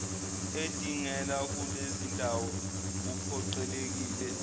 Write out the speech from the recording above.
edingela kulezindawo uphoqelekile